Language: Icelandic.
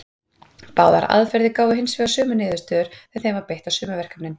Báðar aðferðir gáfu hins vegar sömu niðurstöður þegar þeim var beitt á sömu verkefnin.